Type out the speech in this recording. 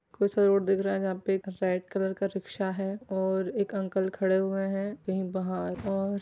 सारे लोग दिख रहा है जहां पे कई सारे रिक्शा और एक अंकल खड़े हुए हैं कही बाहर और --